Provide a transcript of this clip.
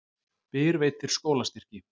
Byr veitir skólastyrki